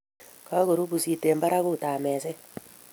Kakoru pusit eng barakut ab mezet